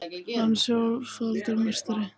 Hann er sjöfaldur meistari